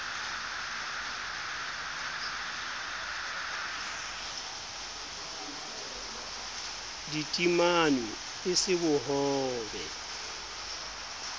di timanwe e se bohobe